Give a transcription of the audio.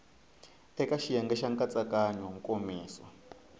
eka xiyenge xa nkatsakanyo nkomiso